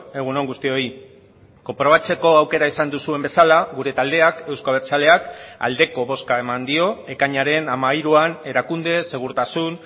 egun on guztioi konprobatzeko aukera izan duzuen bezala gure taldeak euzko abertzaleak aldeko bozka eman dio ekainaren hamairuan erakunde segurtasun